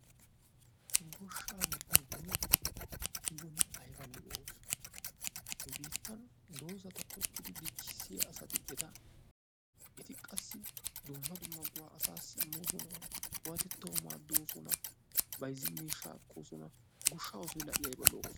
Goshaa giyooge ayba lo'iyaa oosoo, nu biittan dozzata tokkidi dichchissiya asati eti qassi dumma dumma go"aa asaassi immososna. qummatettawu maadoosona. bayzzin miishshaa ekkososna, goshaa oosoy i aybba lo"oo.